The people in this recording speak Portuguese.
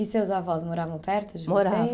E seus avós moravam perto de vocês?